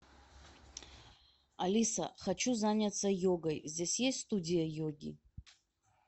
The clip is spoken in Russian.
алиса хочу заняться йогой здесь есть студия йоги